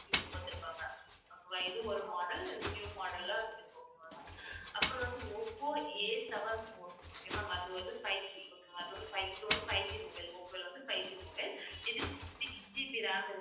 இது ஒரு model new model ல அப்புறம் வந்து, ஓப்போ Aseven fourokay ma'am அது வந்து fiveGokay ma'am அது வந்து fiveG ஓப்போல வந்து 5G mobile இது 6GB RAM இருக்கு ma'am